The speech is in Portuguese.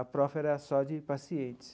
APROFE era só de pacientes.